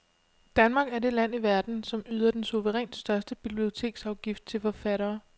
Danmark er det land i verden, som yder den suverænt største biblioteksafgift til forfattere.